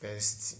pesti